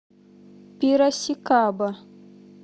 пирасикаба